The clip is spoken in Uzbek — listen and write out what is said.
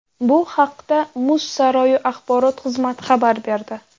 Bu haqda muz saroyi axborot xizmati xabar berdi.